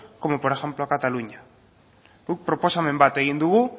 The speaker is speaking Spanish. como por ejemplo a cataluña guk proposamen bat egin dugu